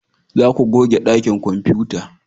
Za ku goge dakin kwamfuta!